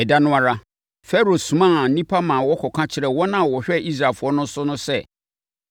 Ɛda no ara, Farao somaa nnipa maa wɔkɔka kyerɛɛ wɔn a wɔhwɛ Israelfoɔ no so no sɛ,